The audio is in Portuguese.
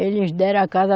Eles deram a casa.